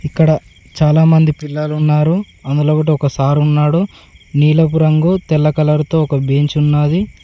ఇక్కడ చాలామంది పిల్లలు ఉన్నారు అందులో ఒకటి ఒక సార్ ఉన్నాడు నీలపు రంగు తెల్ల కలర్ తో ఒక బెంచ్ ఉన్నది.